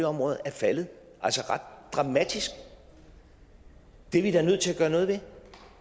områder er faldet ret dramatisk det er vi da nødt til at gøre noget ved